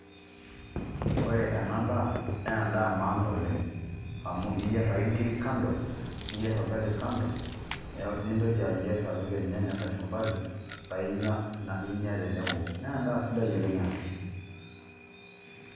Ore ena daa naa endaa emaana oleng' amu iyierr ake enkiri kando niyierr orgali kando paa Intoki ayierr apik irnyanya kachumbari paa inya tenebo, naa endaa sidai ena oleng'.